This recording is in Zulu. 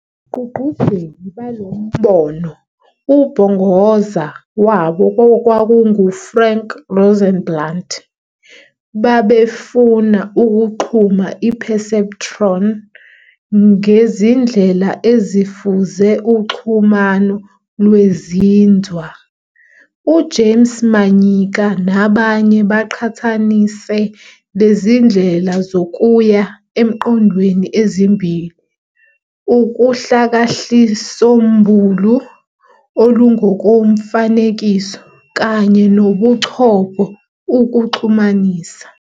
Abagqugquzeli balombono, ubhongoza wabo okwakungu Frank Rosenblatt, babefuna ukuxhuma i-"Perceptron" ngezindlela ezifuze uxhumano lwezinzwa. U-James Manyika nabanye baqhathanise lezindlela zokuya emqondweni ezimbili, uhlakahlisombulu olungokomfanekiso, kanye nobuchopho, ukuxhumanisa.